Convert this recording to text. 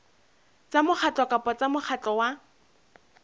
tsa mokgatlo kapa mokgatlo wa